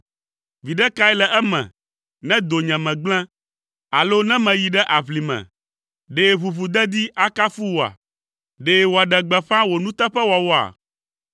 “Viɖe kae le eme ne donyeme gblẽ alo ne meyi ɖe aʋlime? Ɖe ʋuʋudedi akafu wòa? Ɖe wòaɖe gbeƒã wò nuteƒewɔwɔa?